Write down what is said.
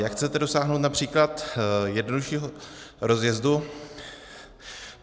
Jak chcete dosáhnout například jednoduššího rozjezdu?